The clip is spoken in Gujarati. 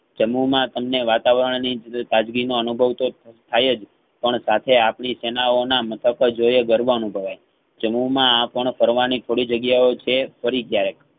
જમ્મુમાં તમ ને વાતાવરણની જ તાજગી નો અનુભવ તો થાય જ પણ સાથે આપડી સેનાઓ ના મત તજોઈએ ગર્વ અનુભવાય જમ્મુ માં આ પણ ફરવાની થોડી જગ્યાઓ છે ફરી ક્યારેક